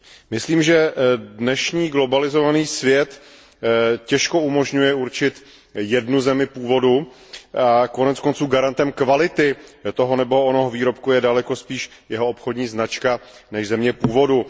Myslím, že dnešní globalizovaný svět těžko umožňuje určit jednu zemi původu, koneckonců garantem kvality toho nebo onoho výrobku je daleko spíše jeho obchodní značka než země původu.